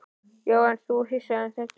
Já, þú ert hissa, en svona er þetta.